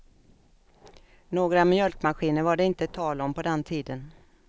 Några mjölkmaskiner var det inte tal om på den tiden.